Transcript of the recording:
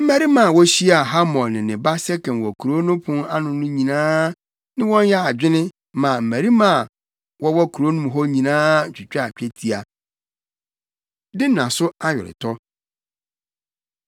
Mmarima a wokohyiaa Hamor ne ne ba Sekem wɔ kurow no pon ano no nyinaa ne wɔn yɛɛ adwene maa mmarima a wɔwɔ kurom hɔ nyinaa twitwaa twetia. Dina So Aweretɔ